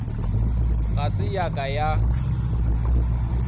ga se ya ka ya